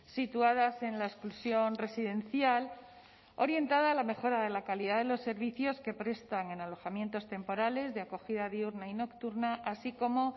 situadas en la exclusión residencial orientada a la mejora de la calidad de los servicios que prestan en alojamientos temporales de acogida diurna y nocturna así como